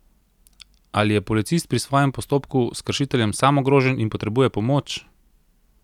Ali je policist pri svojem postopku s kršiteljem sam ogrožen in potrebuje pomoč?